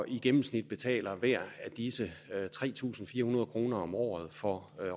i gennemsnit betaler tre tusind fire hundrede kroner om året for